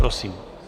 Prosím.